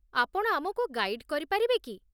ଆପଣ ଆମକୁ ଗାଇଡ଼୍ କରିପାରିବେ କି?